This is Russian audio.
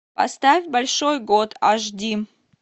поставь большой год аш ди